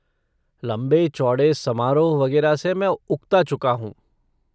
लंबे चौड़े समारोह वगेरह से मैं उक्ता चुका हूँ।